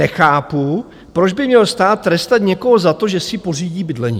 Nechápu, proč by měl stát trestat někoho za to, že si pořídí bydlení.